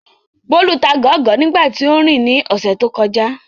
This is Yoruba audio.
Bólú ta gọ̀ọ́gọ̀ọ́ nígbà tí óún rìn ní ọ̀sẹ̀ tó kọjá